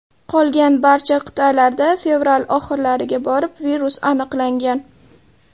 Qolgan barcha qit’alarda fevral oxirlariga borib virus aniqlangan.